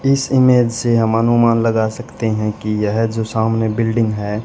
इस इमेज से हम अनुमान लगा सकते हैं कि यह जो सामने बिल्डिंग हैं।